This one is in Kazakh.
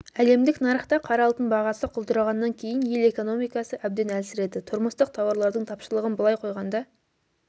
әлемдік нарықта қара алтын бағасы құлдырағаннан кейін ел экономикасы әбден әлсіреді тұрмыстық тауарлардың тапшылығын былай қойғанда